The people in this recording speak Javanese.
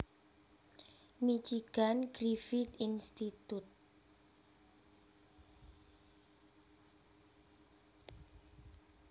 Michigan Griffith Institute